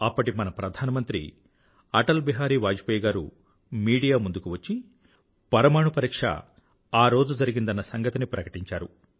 అప్పటి మన ప్రధానమంత్రి అటల్ బిహారీ వాజ్పేయ్ గారు మీడియా ముందుకు వచ్చి పరమాణు పరీక్ష ఆరోజు జరిగిందన్న సంగతిని ప్రకటించారు